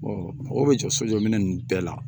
mɔgɔw bɛ jɔ so jɔ minɛn ninnu bɛɛ la